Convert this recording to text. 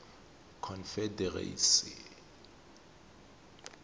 confederacy